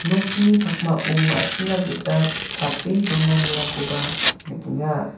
nokni pakmao ma·sina gita tape donanirangkoba nikenga.